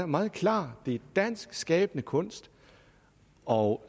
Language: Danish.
meget klar det dansk skabende kunst og